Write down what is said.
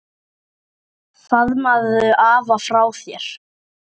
Faðmaðu afa frá mér.